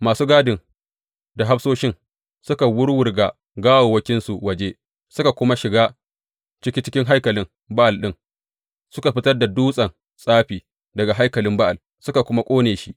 Masu gadin da hafsoshin suka wuwwurga gawawwakinsu waje, suka kuma shiga ciki cikin haikalin Ba’al ɗin, suka fitar da dutsen tsafi daga haikalin Ba’al, suka kuma ƙone shi.